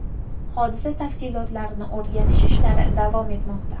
Hodisa tafsilotlarini o‘rganish ishlari davom etmoqda.